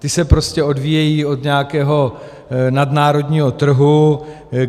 Ty se prostě odvíjejí od nějakého nadnárodního trhu.